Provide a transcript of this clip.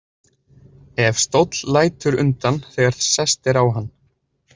Ef stóll lætur undan þegar sest er á hann.